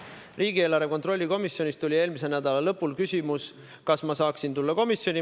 Riigieelarve kontrolli komisjonist tuli eelmise nädala lõpus küsimus, kas ma saaksin tulla komisjoni.